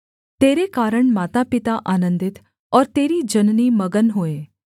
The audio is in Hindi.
तेरे कारण मातापिता आनन्दित और तेरी जननी मगन होए